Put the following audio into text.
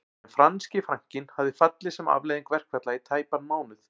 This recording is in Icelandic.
En franski frankinn hafði fallið sem afleiðing verkfalla í tæpan mánuð